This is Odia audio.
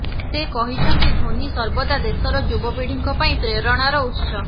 ସେ କହିଛନ୍ତି ଧୋନି ସର୍ବଦା ଦେଶର ଯୁବପିଢିଙ୍କ ପାଇଁ ପ୍ରେରଣାର ଉତ୍ସ